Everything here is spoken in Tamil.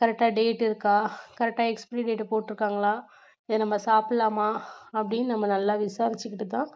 correct ஆ date இருக்கா correct ஆ expiry date போட்டிருக்காங்களா இதை நம்ம சாப்பிடலாமா அப்படின்னு நம்ம நல்லா விசாரிச்சிக்கிட்டு தான்